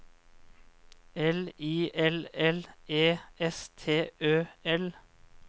L I L L E S T Ø L